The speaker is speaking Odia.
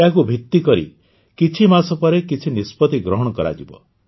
ଏହାକୁ ଭିତ୍ତି କରି କିଛି ମାସ ପରେ କିଛି ନିଷ୍ପତି ଗ୍ରହଣ କରାଯିବ